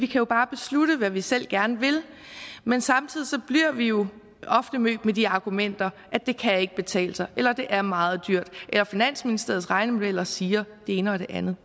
jo bare beslutte hvad vi selv gerne vil men samtidig bliver vi jo ofte mødt med de argumenter at det ikke kan betale sig eller at det er meget dyrt eller at finansministeriets regnemodeller siger det ene og det andet